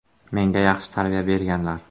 Menga yaxshi tarbiya berganlar.